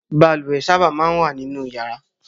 Balùwè máa ń sábà wà nínú yàrá